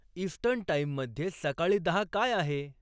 eastern टाइममध्ये सकाळी दहा काय आहे